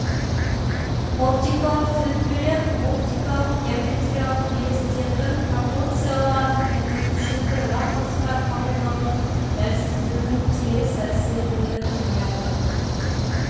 оптикалық түзетпелер оптикалық геометриялық елестердің пропорциялардың және пішінді ракурстар қабылдаудың дәлсіздігінің теріс әсерлерін жояды